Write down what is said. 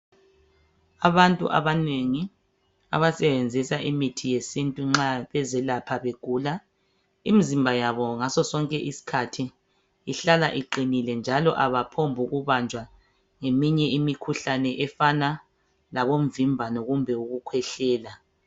Abantu abanengi abasebenzisa imithi yesintu nxa bezelapha begula, imizimba yabo ngasosonke isikhathi ihlala iqinile njalo abaphombukubanjwa ngeminye imikhuhlane efana labomvimbano kumbe ukukhwehlela.